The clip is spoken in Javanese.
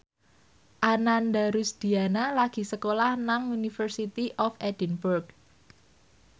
Ananda Rusdiana lagi sekolah nang University of Edinburgh